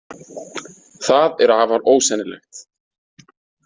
Það er afar ósennilegt.